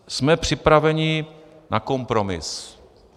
Jsme připraveni na kompromis.